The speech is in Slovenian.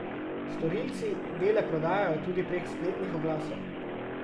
Storilci dele prodajajo tudi prek spletnih oglasov.